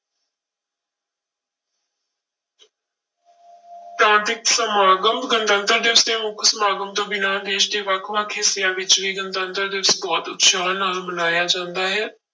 ਪ੍ਰਾਂਤਿਕ ਸਮਾਗਮ, ਗਣਤੰਤਰ ਦਿਵਸ ਦੇ ਮੁੱਖ ਸਮਾਗਮ ਤੋਂ ਬਿਨਾਂ ਦੇਸ ਦੇ ਵੱਖ ਵੱਖ ਹਿੱਸਿਆਂ ਵਿੱਚ ਵੀ ਗਣਤੰਤਰ ਦਿਵਸ ਬਹੁਤ ਉਤਸ਼ਾਹ ਨਾਲ ਮਨਾਇਆ ਜਾਂਦਾ ਹੈ।